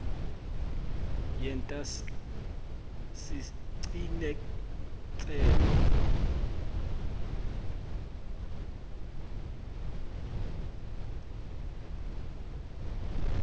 yenta siciniseko sekutsi